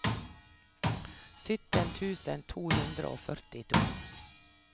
sytten tusen to hundre og førtito